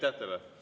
Aitäh teile!